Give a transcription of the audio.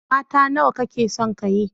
Mata nawa kake son ka yi?